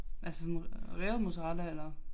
Altså sådan revet mozzarella eller